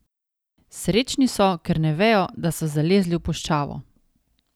Srečni so, ker ne vejo, da so zalezli v puščavo.